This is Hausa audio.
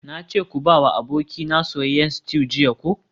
Nace ka bawa abokaina soyayyen stew jiya ko?